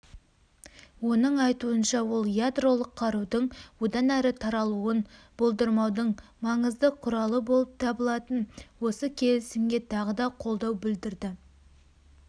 оның айтуынша ол ядролық қарудың одан әрі таралуын болдырмаудың маңызды құралы болып табылатын осы келісімге тағы да қолдау білдірді